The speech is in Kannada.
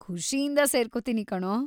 ಖುಷಿಯಿಂದ ಸೇರ್ಕೊತೀನಿ ಕಣೋ.